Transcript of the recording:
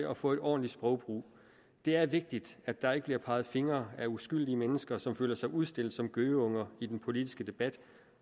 at få en ordentlig sprogbrug det er vigtigt at der ikke bliver peget fingre ad uskyldige mennesker som føler sig udstillet som gøgeunger i den politiske debat